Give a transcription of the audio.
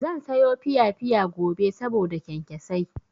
Zan sayo piyapiya gobe saboda kyankyasai.